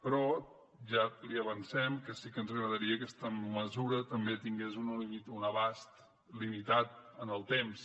però ja li avancem que sí que ens agradaria que aquesta mesura també tingués un abast limitat en el temps